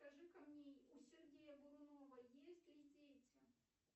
скажи ка мне у сергея бурунова есть ли дети